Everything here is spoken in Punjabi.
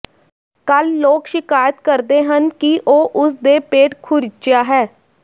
ਕੱਲ੍ਹ ਲੋਕ ਸ਼ਿਕਾਇਤ ਕਰਦੇ ਹਨ ਕਿ ਉਹ ਉਸ ਦੇ ਪੇਟ ਖੁਰਿਚਆ ਹੈ